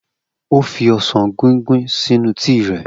O fi osan guinguin sinu tii rẹ.